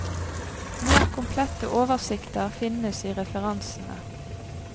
Mer komplette oversikter finnes i referansene.